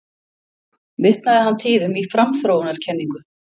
Vitnaði hann tíðum í framþróunarkenningu